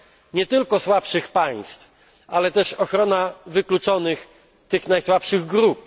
Nie tylko słabszych państw, ale też ochronę osób wykluczonych, tych najsłabszych grup.